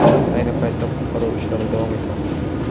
Ayni paytda qutqaruv ishlari davom etmoqda.